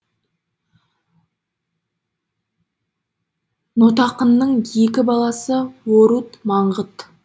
нотақынның екі баласы орут маңғыт